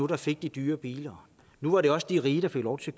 der fik de dyre biler nu var det også de rige der fik lov til